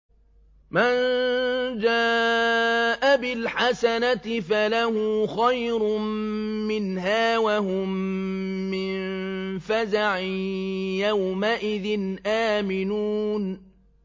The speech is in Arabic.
مَن جَاءَ بِالْحَسَنَةِ فَلَهُ خَيْرٌ مِّنْهَا وَهُم مِّن فَزَعٍ يَوْمَئِذٍ آمِنُونَ